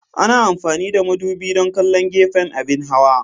Ana amfani da madubi don kallon gefen abin hawa.